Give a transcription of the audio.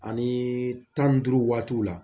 Ani tani duuru waatiw la